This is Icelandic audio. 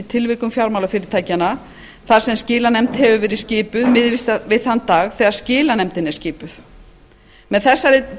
tilvikum fjármálafyrirtækjanna þar sem skilanefnd hefur verið skipuð miðist við þann dag þegar skilanefndin er skipuð með þessari